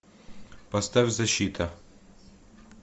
поставь защита